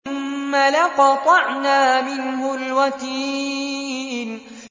ثُمَّ لَقَطَعْنَا مِنْهُ الْوَتِينَ